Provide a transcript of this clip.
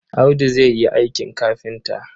Audu zai yi aikin kafinta.